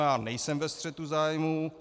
Já nejsem ve střetu zájmů.